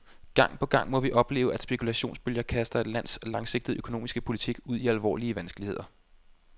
Gang på gang må vi opleve, at spekulationsbølger kaster et lands langsigtede økonomiske politik ud i alvorlige vanskeligheder.